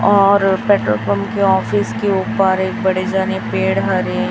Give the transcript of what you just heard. और petrol pump के office के ऊपर एक बड़े जाने पेड़ हरे--